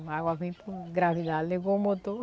A água vem por gravidade, levou o motor.